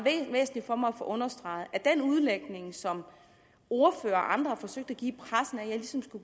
væsentligt for mig at få understreget at den udlægning som ordførere og andre har forsøgt at give